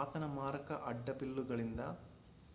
ಆತನ ಮಾರಕ ಅಡ್ಡಬಿಲ್ಲುಗಳಿಂದ